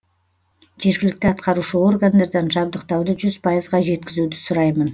жергілікті атқарушы органдардан жабдықтауды жүз пайызға жеткізуді сұраймын